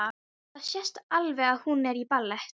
Það sést alveg að hún er í ballett.